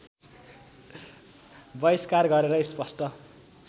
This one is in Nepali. वहिष्कार गरेर स्पष्ट